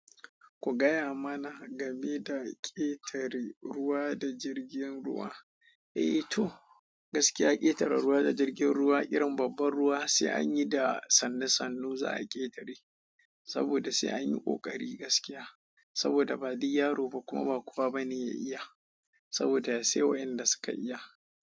Ku gaya mana, game da ƙetare ruwa da jirgin ruwa. Eh, to gaskiya ƙetare ruwa da jirgin ruwa irin babban ruwa, sai anyi da sannu sannu za'a ƙetare. Saboda sai anyi ƙoƙari gaskiya. Saboda ba duk yaro ba, kuma ba kowa bane ya iya. Saboda sai waƴanda suka iya.